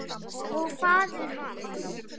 Og faðir hans?